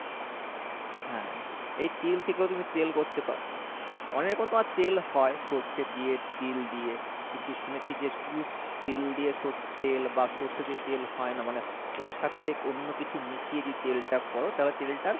হ্যাঁ এই তিল থেকেও তুমি তেল করতে পারো , অনেক প্রকার তেল হয় সর্ষে দিয়ে তিল দিয়ে কীন্তু শুনেছি যে শুধু তিল দিয়ে তেল বা সর্ষে দিয়ে তেল হয় না মানে ওর সাথে অন্য কিছু মিশিয়ে দিয়ে তেলটা করো তাহলে তেলটার